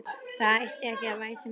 Það ætti ekki að væsa um þig.